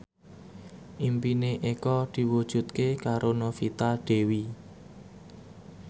impine Eko diwujudke karo Novita Dewi